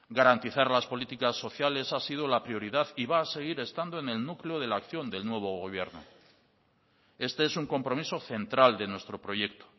garantizar las políticas sociales ha sido la prioridad y va a seguir estando en el núcleo de la acción del nuevo gobierno este es un compromiso central de nuestro proyecto